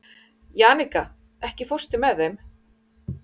Jannika, ekki fórstu með þeim?